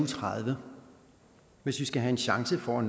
tredive hvis vi skal have en chance for